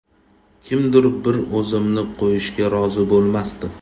Kimdir bir o‘zimni qo‘yishga rozi bo‘lmasdi.